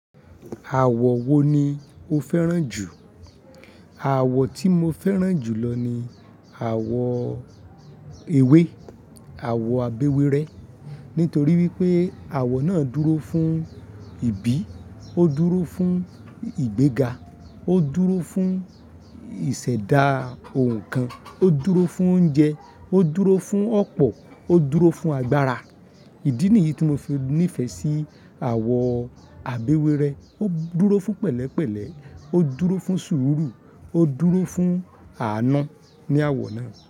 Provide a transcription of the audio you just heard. Àwọ̀ wo ni o fẹ́ràn jù? Àwọ̀ tí mo fẹ́ràn jù lọ ni àwọ̀ ewé, àwọ̀ abéwurẹ́. Nítorí wípé àwọ̀ náà dúró fún ìbí, ó dúró fún ìgbéga, ó dúró fún ìṣẹ̀dá ohun kan, ó dúró fún oúnjẹ, ó dúró fún ọ̀pọ̀, ó dúró fún agbára. Ìdí nìyí tí mo fi nífẹ̀ẹ́ sí àwọ̀ abéwérẹ́. Ó dúró fún pẹ̀lẹ́pẹ̀lẹ́, ó dúró fún sùúrù, ó dúró fún àná ní àwọ̀ náà.